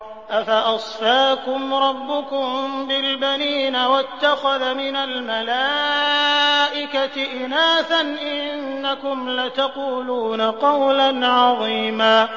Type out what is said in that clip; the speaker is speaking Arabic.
أَفَأَصْفَاكُمْ رَبُّكُم بِالْبَنِينَ وَاتَّخَذَ مِنَ الْمَلَائِكَةِ إِنَاثًا ۚ إِنَّكُمْ لَتَقُولُونَ قَوْلًا عَظِيمًا